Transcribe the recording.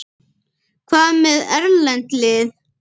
Hvað með erlend lið?